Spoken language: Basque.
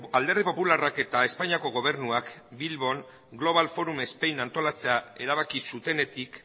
alderdi popularrak eta espainiako gobernuak bilbon global forum spain antolatzea erabaki zutenetik